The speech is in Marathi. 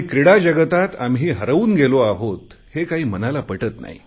क्रीडा जगतात आम्ही हरवून गेलो आहोत हे काही मनाला पटत नाही